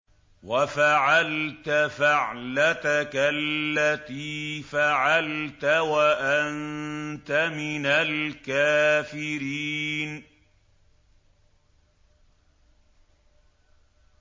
وَفَعَلْتَ فَعْلَتَكَ الَّتِي فَعَلْتَ وَأَنتَ مِنَ الْكَافِرِينَ